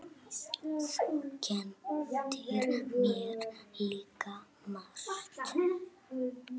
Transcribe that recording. Þú kenndir mér líka margt.